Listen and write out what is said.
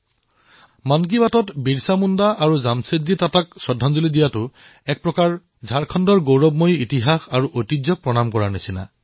মন কী বাতত বিৰচা মুণ্ডা আৰু জামছেদজী টাটাক শ্ৰদ্ধাঞ্জলি জনোৱাৰ জৰিয়তে ঝাৰখণ্ডৰ গৌৰৱময় ইতিহাসক প্ৰণাম কৰাৰ লেখীয়া কথা হয়